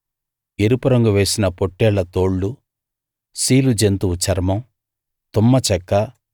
ఎరుపురంగు వేసిన పొట్టేళ్ల తోళ్లు సీలు జంతువు చర్మం తుమ్మ చెక్క